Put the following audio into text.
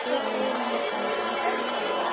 Við fórum úr strætó hérna niður frá!